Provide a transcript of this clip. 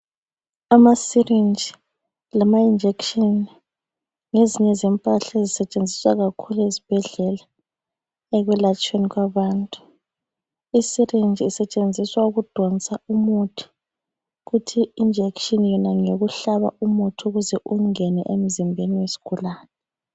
Ama syringe lama injection ngezinye zempahla ezisetshenziswayo kakhulu ezibhedlela okuyelatshweni abantu. Isyringe isetshenziswa ukudonsa umuthi, kuthi injection ngeyokuhlaba umuthi ukuze ungene emzimbeni wesigulane.